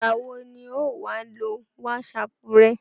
ìgbà wo ni ọ̀ ọ́ wá lo wásapù rẹ?